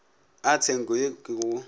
a tshenko ye ke go